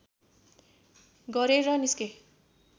गरेर निस्के